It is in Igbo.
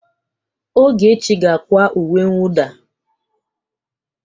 Ogechi ga-akwa uwe mwụda.